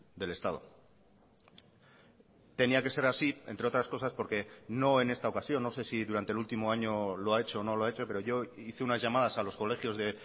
del estado tenía que ser así entre otras cosas porque no en esta ocasión no sé si durante el último año lo ha hecho o no lo ha hecho pero yo hice unas llamadas a los colegios de